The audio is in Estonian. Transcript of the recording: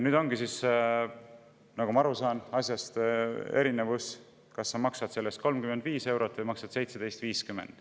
Nagu ma asjast aru saan, siis erinevus on nüüd selles, kas sa maksad selle eest 35 eurot või maksad 17,50.